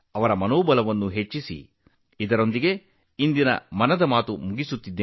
ನಾನೀಗ ತೆರಳುತ್ತಿದ್ದೇನೆ